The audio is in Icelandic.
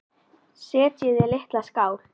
Setjið í litla skál.